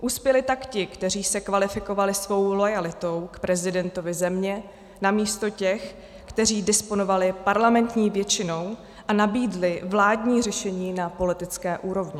Uspěli tak ti, kteří se kvalifikovali svou loajalitou k prezidentovi země, namísto těch, kteří disponovali parlamentní většinou a nabídli vládní řešení na politické úrovni.